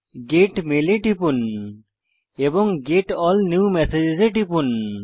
gate mail এ টিপুন এবং গেট এএলএল নিউ মেসেজেস এ টিপুন